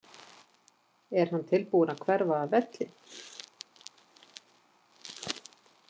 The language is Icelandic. Er hann tilbúinn að hverfa af velli?